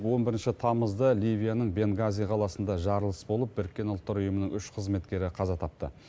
он бірінші тамызда ливияның бенгази қаласында жарылыс болып біріккен ұлттар ұйымының үш қызметкері қаза тапты